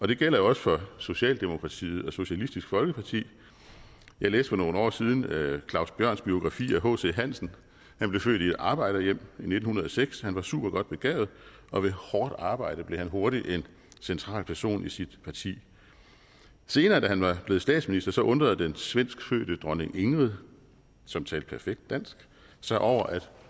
det gælder jo også for socialdemokratiet og socialistisk folkeparti jeg læste for nogle år siden claus bjørns biografi om hc hansen han blev født i et arbejderhjem i nitten hundrede og seks han var supergodt begavet og ved hårdt arbejde blev han hurtigt en central person i sit parti senere da han var blevet statsminister undrede den svenskfødte dronning ingrid som talte perfekt dansk sig over at